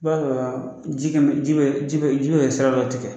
Kuma dɔ la ji kɛn bɛ ji bɛ ji bɛ sira dɔ tigɛ